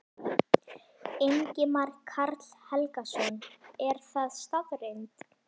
Ingimar Karl Helgason: Er það staðreynd?